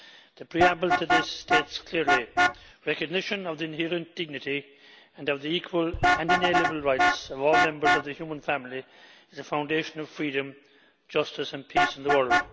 The preamble to this states clearly recognition of the inherent dignity and of the equal and inalienable rights of all members of the human family is the foundation of freedom, justice and peace in the world'.